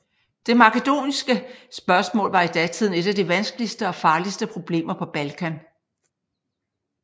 Det makedoniske spørgsmål var i datiden et af de vanskeligste og farligste problemer på Balkan